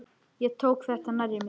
Ég tók þetta nærri mér.